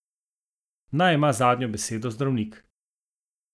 Naj ima zadnjo besedo zdravnik!